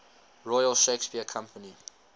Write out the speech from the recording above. royal shakespeare company